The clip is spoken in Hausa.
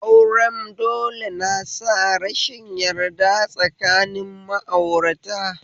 Auren dole na sa rashin yarda tsakanin ma'aurata